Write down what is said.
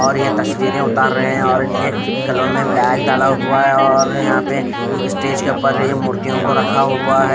और ये तस्वीरें उतार रहे हैं और इनके गलों में बैग डाला हुआ है और यहाँ पे स्टेज के ऊपर ये मूर्तियों को रखा हुआ है।